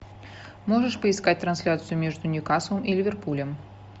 можешь поискать трансляцию между ньюкаслом и ливерпулем